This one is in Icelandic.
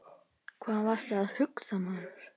Hvað varstu að hugsa maður?